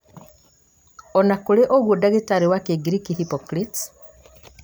on akũrĩ ũguo ndagĩtarĩ wa kĩngiriki, Hippocrates,